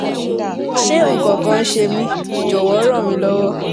ṣé nǹkan kan ń ṣe mí? jọ̀wọ́ ràn mí lọ́wọ́